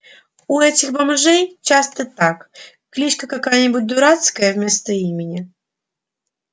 у этих бомжей часто так кличка какая-нибудь дурацкая вместо имени